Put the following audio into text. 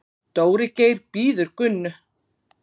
Dóri Geir bíður Gunnu.